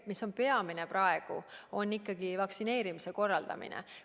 Peamine praegu on ikkagi vaktsineerimise korraldamine.